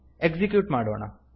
execute ಮಾಡೋಣ